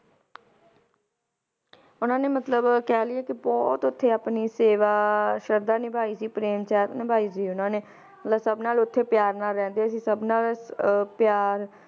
ਉਹਨਾਂ ਨੇ ਮਤਲਬ ਕਹਿ ਲਇਏ ਕਿ ਬਹੁਤ ਓਥੇ ਆਪਣੀ ਸੇਵਾ, ਸ਼ਰਧਾ ਨੀਭਾਈ ਸੀ, ਪ੍ਰੇਮ ਸਾਹਿਤ ਨਿਭਾਈ ਸੀ ਉਹਨਾਂ ਨੇ ਮਤਲਬ ਸਬ ਨਾਲ ਓਥੇ ਪਿਆਰ ਨਾਲ ਰਹਿੰਦੇ ਸੀ, ਸਬ ਨਾਲ ਅਹ ਪਿਆਰ